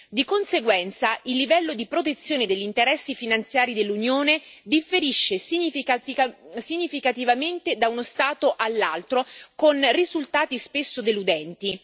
Di conseguenza, il livello di protezione degli interessi finanziari dell'Unione differisce significativamente da uno Stato all'altro, con risultati spesso deludenti.